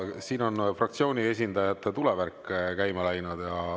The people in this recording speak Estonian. Nii, fraktsioonide esindajate tulevärk käima läinud.